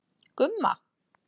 Gumma